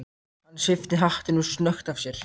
Hann svipti hattinum snöggt af sér.